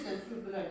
İkisi də sürdülər.